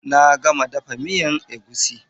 Na gama dafa miyan egusi.